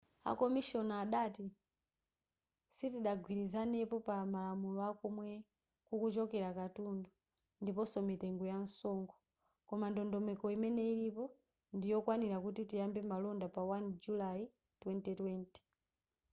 a komishona adati sitidagwirizanepo pa malamulo akomwe kukuchokera katundu ndiponso mitengo yamsonkho koma ndondomeko imene ilipo ndiyokwanira kuti tiyambe malonda pa 1 julayi 2020